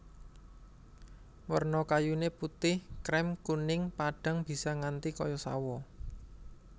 Werna kayuné putih krèm kuning padhang bisa nganti kaya sawo